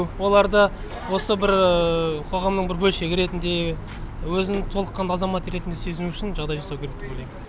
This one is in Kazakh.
оларды осы бір қоғамның бір бөлшегі ретінде өзін толыққанды азамат ретінде сезіну үшін жағдай жасау керек деп ойлаймын